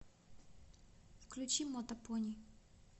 включи мотопони